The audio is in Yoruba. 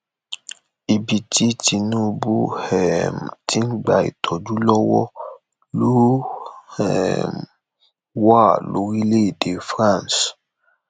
ibi tí tinubu um ti ń gba ìtọjú lọwọ ló um wà lórílẹèdè france